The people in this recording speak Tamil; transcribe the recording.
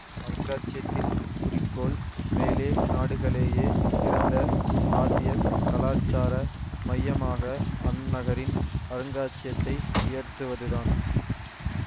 அருங்காட்சியத்தின் குறிக்கோள் மேலே நாடுகலேயே சிறந்த ஆசிய கலாச்சார மையமாக அந்நகரின் அருங்காட்சியத்தை உயர்த்துவதுதான்